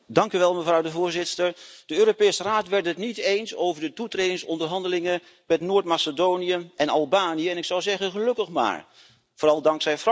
Voorzitter, de Europese Raad werd het niet eens over de toetredingsonderhandelingen met Noord Macedonië en Albanië, en ik zou zeggen gelukkig maar. Vooral dankzij Frankrijk.